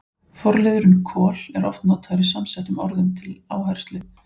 Forliðurinn kol- er oft notaður í samsettum orðum til áherslu.